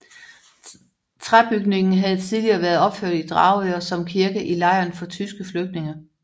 Træbygningen havde tidligeret været opført i Dragør som kirke i lejren for tyske flygtninge